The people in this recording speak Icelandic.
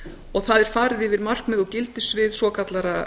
og það er farið yfir markmið og gildissvið svokallaðra